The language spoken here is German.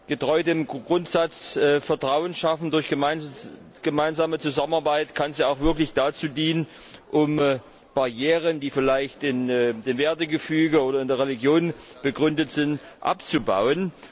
Getreu dem Grundsatz Vertrauen schaffen durch gemeinsame Zusammenarbeit kann sie auch wirklich dazu dienen, Barrieren, die vielleicht im Wertegefüge oder in der Religion begründet sind, abzubauen.